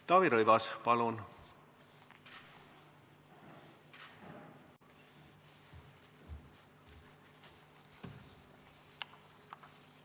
Taavi Rõivas, palun!